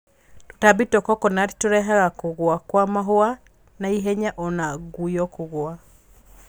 Tũtambi twa kokonati tũrehaga kũgũa kwa mahũa na ihenya o na ngũyo kũgũa.